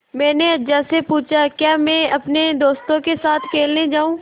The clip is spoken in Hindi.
मैंने अज्जा से पूछा क्या मैं अपने दोस्तों के साथ खेलने जाऊँ